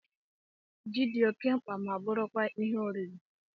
Jị dị oké mkpa ma bụrụ kwa Ihe oriri